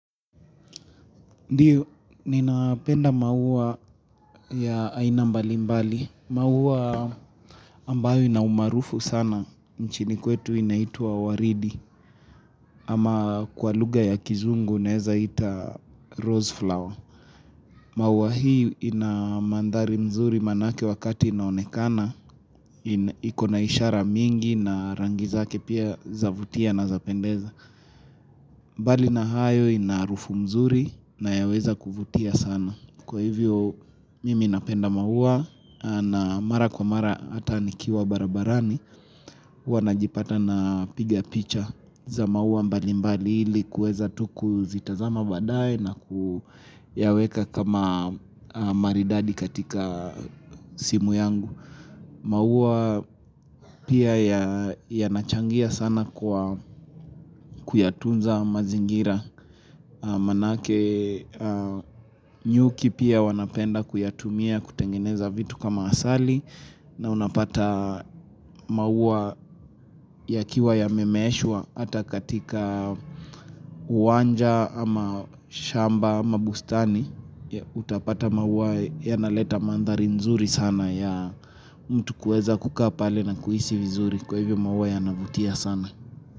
Ndiyo, ninapenda maua ya aina mbalimbali. Maua ambayo ina umaarufu sana, nchini kwetu inaitwa waridi, ama kwa lugha ya kizungu neza ita rose flower. Maua hii ina maamdhari mzuri maanake wakati inaonekana, ina. Ikona ishara mingi na rangi zake pia zavutia na zapendeza. Mbali na hayo ina harufu mzuri na yaweza kuvutia sana. Kwa hivyo, mimi napenda maua na mara kwa mara hata nikiwa barabarani, huwa najipata napiga picha za maua mbalimbali ili kueza tu kuzitazama baadae na kuyaweka kama maridadi katika simu yangu maua pia ya yanachangia sana kwa kuyatunza mazingira Maanake aah, nyuki pia wanapenda kuyatumia kutengeneza vitu kama asali na unapata maua yakiwa yamemeeshwa hata katika uwanja ama shamba ama bustani Utapata maua yanaleta mandhari nzuri sana ya mtu kuweza kukaa pale na kuhisi vizuri kwa hivyo maua yanavutia sana.